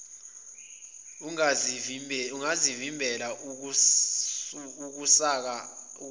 ingavimbela ukusaka zwa